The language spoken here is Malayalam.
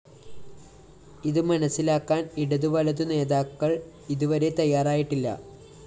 ഇതുമനസ്സിലാക്കാന്‍ ഇടതു വലതു നേതാക്കള്‍ ഇതുവരെ തയ്യാറായിട്ടില്ല